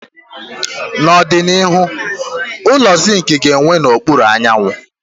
N'ọdịnihu, ụlọ zinc ga-enwu n'okpuru anyanwụ